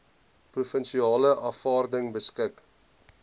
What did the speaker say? provinsiale afvaarding beskik